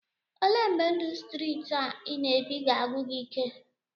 Olee mgbe ndụ streeti a ị na-ebi ga-agwụ gị ike?